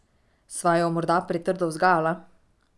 Sva jo morda pretrdo vzgajala?